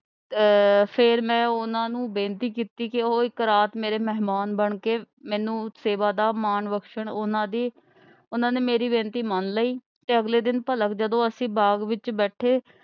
ਆਹ ਫੇਰ ਮੈਂ ਉਨ੍ਹਾਂ ਨੂੰ ਬੇਨਤੀ ਕੀਤੀ ਕਿ ਉਹ ਇੱਕ ਰਾਤ ਮੇਰੇ ਮਹਿਮਾਨ ਬਣਕੇ ਮੈਨੂੰ ਸੇਵਾ ਦਾ ਮਾਣ ਬਖਸ਼ਣ। ਉਨ੍ਹਾਂ ਨੇ ਮੇਰੀ ਬੇਨਤੀ ਮੰਨ ਲਈ ਤੇ ਅਗਲੇ ਦਿਨ ਭਲਕ ਜਦੋ ਅਸੀ ਬਾਗ ਵਿਚ ਬੈਠੇ।